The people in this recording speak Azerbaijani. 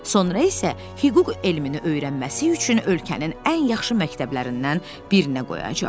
Sonra isə hüquq elmini öyrənməsi üçün ölkənin ən yaxşı məktəblərindən birinə qoyacaq.